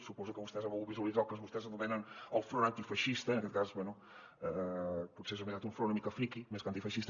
suposo que vostès han volgut visualitzar el que vostès anomenen el front antifeixista en aquest cas bé potser és un front una mica friqui més que antifeixista